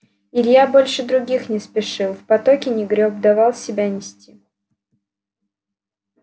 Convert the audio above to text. илья больше других не спешил в потоке не грёб давал себя нести